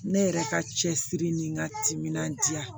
Ne yɛrɛ ka cɛsiri ni n ka timinandiya